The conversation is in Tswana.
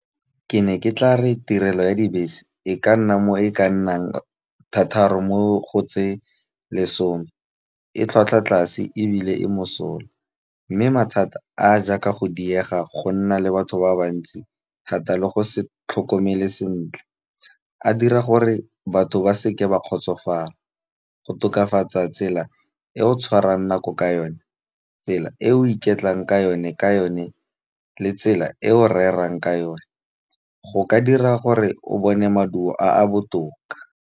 Ke ne ke tla re tirelo ya dibese e ka nna mo e ka nnang thataro mo go tse lesome. E tlhwatlhwa tlase ebile e mosola, mme mathata a a jaaka go diega, go nna le batho ba bantsi thata, le go se tlhokomele sentle. A dira gore batho ba seke ba kgotsofala, go tokafatsa tsela e o tshwarang nako ka yone, tsela e o ikutlwang ka yone, tsela e o rerang ka yone, go ka dira gore o bone maduo a a botoka.